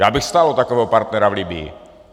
Já bych stál o takového partnera v Libyi.